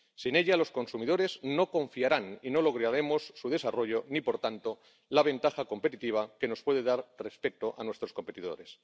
Sin ella, los consumidores no confiarán y no lograremos su desarrollo ni por tanto la ventaja competitiva que nos puede dar respecto a nuestros competidores.